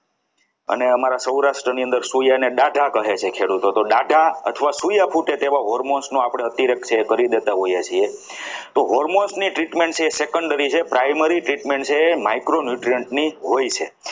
અને અમારા સૌરાષ્ટ્રની અંદર સોયા અને ડાઢા ગણે છે ખેડૂતો તો ડાટા અથવા સિયા ફૂટે તેવા almost નો છે એ આપણે અત્યારે કરી દેતા હોઈએ છીએ તો hormones treatment છે એ secondary primary treatment છે એ micro Newton ની હોય છે.